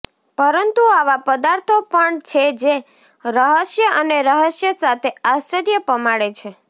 પરંતુ આવા પદાર્થો પણ છે જે રહસ્ય અને રહસ્ય સાથે આશ્ચર્ય પમાડે છે